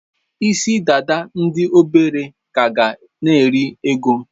Isi-dada ndi obere ka ga na-eri oge.